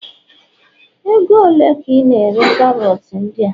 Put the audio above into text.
ego ole ka I na-ere karot ndia?